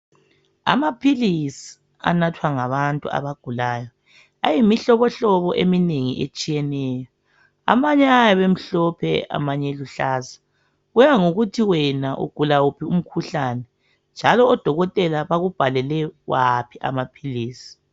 Amaphilisi anathwa ngabantu abagulayo . Ayimihlobohlobo eminengi etshiyeneyo ,Amanye ayabe emhlophe amanye eluhlaza. Kuya ngokuthi wena ugula wuphi umkhuhlane njalo odokotela bakubhalele waphi amaphilisi .